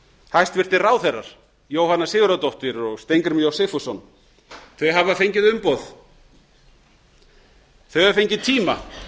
hæstvirtir ráðherrar jóhanna sigurðardóttir og steingrímur j sigfússon þau hafa fengið umboð þau hafa fengið tíma